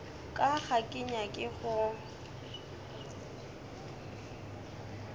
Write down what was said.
ka ga ke nyake go